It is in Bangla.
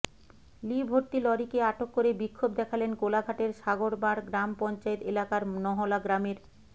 লি ভর্তি লরিকে আটক করে বিক্ষোভ দেখালেন কোলাঘাটের সাগরবাড় গ্রাম পঞ্চায়েত এলাকার নহলা গ্রামের